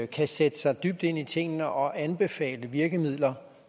kan sætte sig dybt ind i tingene og anbefale virkemidler